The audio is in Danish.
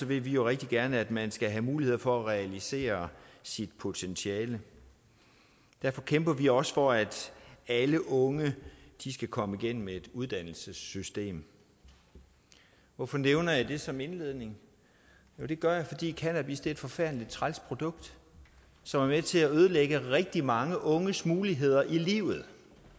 vil vi jo rigtig gerne at man skal have muligheder for at realisere sit potentiale derfor kæmper vi også for at alle unge skal komme igennem et uddannelsessystem hvorfor nævner jeg det som indledning det gør jeg fordi cannabis er et forfærdelig træls produkt som er med til at ødelægge rigtig mange unges muligheder i livet